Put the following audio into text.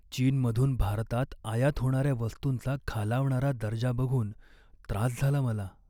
चीनमधून भारतात आयात होणाऱ्या वस्तूंचा खालावणारा दर्जा बघून त्रास झाला मला.